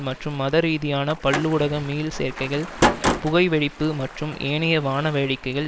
மற்றும் மதரீதியான பல்லூடக மீள் சேர்க்கைகள் புகை வெடிப்பு மற்றும் ஏனைய வாணவேடிக்கைகள்